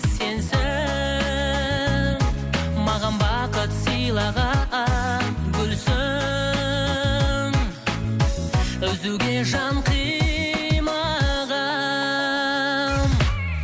сенсің маған бақыт сыйлаған гүлсің үзуге жан қимаған